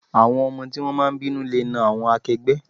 Àwọn ọmọ tí wón máa ń bínú le náà àwọn akẹgbẹ́.